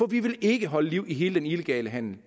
vi vil ikke holde liv i hele den illegale handel